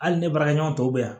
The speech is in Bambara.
Hali ne baarakɛɲɔgɔn tɔw bɛ yan